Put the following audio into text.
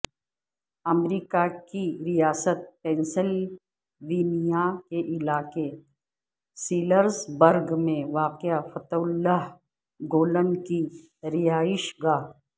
امریکہ کی ریاست پینسلوینیا کے علاقے سیلرزبرگ میں واقع فتح اللہ گولن کی رہائش گاہ